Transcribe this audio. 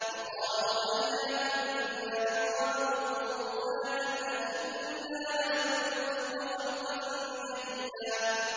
وَقَالُوا أَإِذَا كُنَّا عِظَامًا وَرُفَاتًا أَإِنَّا لَمَبْعُوثُونَ خَلْقًا جَدِيدًا